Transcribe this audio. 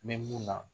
N bɛ mun na